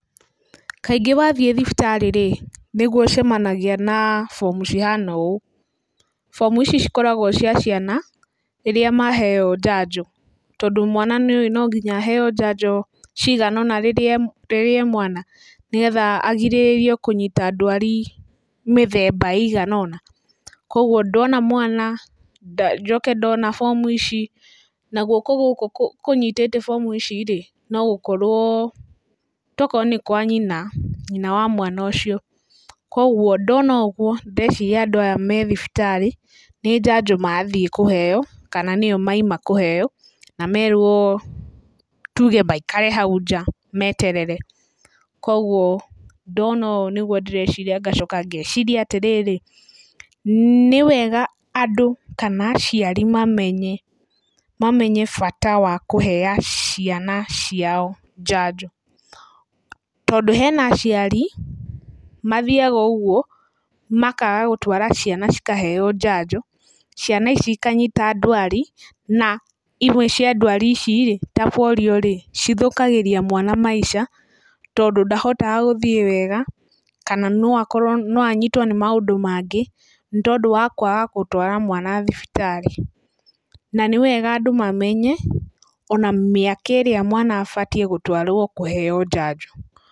Kaingĩ wathiĩ thibitarĩ-rĩ, nĩguo ũcemanagia na bomu cihana ũũ, bomu ici cikoragwo cia ciana, rĩrĩa maheyo njanjo, tondũ mwana nĩ ũwĩ no nginya aheo njanjo cigana ũna rĩrĩa e mwana, nĩgetha arigĩrĩrie kũnyita ndwari mĩthemba ĩigana ũna. Koguo ndona mwana na njoke ndona bomu ici na guoko gũkũ kũnyitĩte bomu ici-rĩ, no gũkorwo, to gũkorwo nĩ kwa nyina, nyina wa mwana ũcio koguo ndona ũguo, ndĩreciria andũ aya me thibitarĩ nĩ njanjo mathiĩ kũheyo, kana nĩyo mauma kũheyo na merwo tuge maikare hau nja meterere, koguo ndona ũũ nĩguo ndĩreciria ngacoka ngeciria atĩrĩrĩ, nĩ wega andũ kana aciari mamenye bata wa kũheaga ciana ciao njanjo, tondũ hena aciari mathiaga ũguo makaga gũtwara ciana cikaheyo njanjo, ciana ici ikanyita ndwari, na imwe cia ndwari ici ta porio-rĩ, cithũkagĩria mwana maica, tondũ ndahotaga hgũthiĩ wega kana no akorwo, no anyitwo nĩ maũndũ mangĩ nĩ tondũ wa kwaga gũtwara mwana thibitarĩ, na nĩ wega andũ mamenye ona mĩaka ĩrĩa mwana abatiĩ gũtwaro kũheyo njanjo.